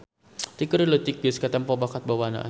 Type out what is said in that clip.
Ti keur leutik geus katempo bakat bawaannana.